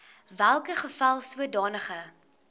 welke geval sodanige